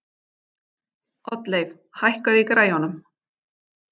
Oddleif, hækkaðu í græjunum.